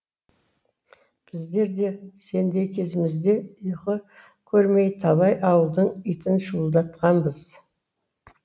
біздер де сендей кезімізде ұйқы көрмей талай ауылдың итін шуылдатқанбыз